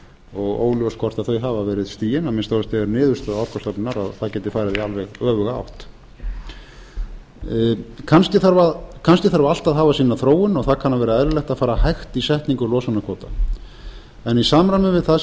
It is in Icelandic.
og óljóst hvort þau hafi verið stigin að minnsta kosti er niðurstaða orkustofnunar að það geti farið í alveg öfuga átt kannski þarf allt að hafa sína þróun og það kann að vera eðlilegt að fara hægt í setningu losunarkvóta en í samræmi við það sem ég